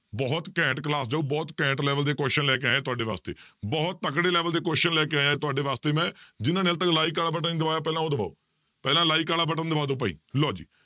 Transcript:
ਬਹੁਤ ਘੈਂਟ class ਬਹੁਤ ਘੈਂਟ level ਦੇ question ਲੈ ਕੇ ਆਇਆਂ ਤੁਹਾਡੇ ਵਾਸਤੇ, ਬਹੁਤ ਤਕੜੇ level ਦੇ question ਲੈ ਕੇ ਆਇਆਂ ਤੁਹਾਡੇ ਵਾਸਤੇ ਮੈਂ ਜਿਹਨਾਂ ਨੇ ਹਾਲੇ ਤੱਕ like ਵਾਲਾ button ਨੀ ਦਬਾਇਆ ਪਹਿਲਾਂ ਉਹ ਦਬਾਓ ਪਹਿਲਾਂ like ਵਾਲਾ button ਦਬਾ ਦਓ ਭਾਈ ਲਓ ਜੀ